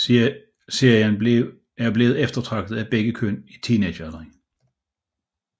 Serien er blevet eftertragtet af begge køn i teenagealderen